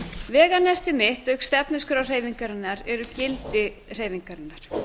veganesti mitt auk stefnuskrár hreyfingarinnar eru gildi hreyfingarinnar